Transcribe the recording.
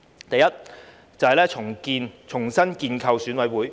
第一，重新建構選委會。